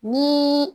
Ni